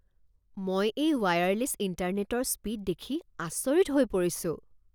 মই এই ৱায়াৰলেছ ইণ্টাৰনেটৰ স্পীড দেখি আচৰিত হৈ পৰিছো।